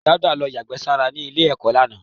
Dauda ló yàgbẹ́ sára ní ilé-ẹ̀kọ́ lánàá.